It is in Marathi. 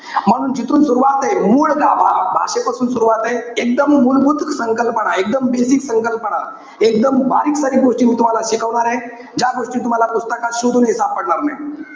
म्हणून जिथून सुरवाते. मूळ गाभा. भा~ भाषेपासून सुरवाते. एकदम मूलभूत संकल्पना, एकदम basic संकल्पना, एकदम बारीकसारीक गोष्टी मी तुम्हाला शिकवणार आहे. ज्या गोष्टी तुम्हाला पुस्तकात शोधूनही सापडणार नाही.